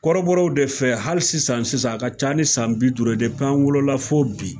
Kɔrɔbɔrɔw de fɛ hali sisan sisan a ka ca ni san bi duuru ye an wolola fo bi